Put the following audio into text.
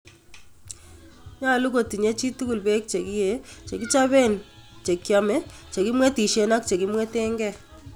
Nyolu kotinye chitugul peek chekiyee, chekichopeen chekyome, chekimwetisheen ak chekimweteenkee